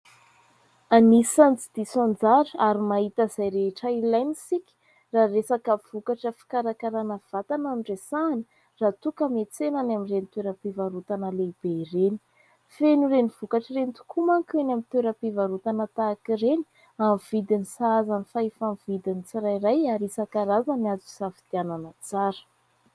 Anisan'ny tsy diso anjara ary mahita izay rehetra ilaina isika raha resaka vokatra fikarakarana vatana no resahana; raha toa ka miantsena any amin'ireny toeram-pivarotana lehibe ireny. Feno ireny vokatra ireny tokoa manko eny amin'ny toeram-pivarotana tahaka ireny. Amin'ny vidiny sahazan'ny fahefa-mividin'ny tsirairay ary isankarazany azo isafidianana tsara.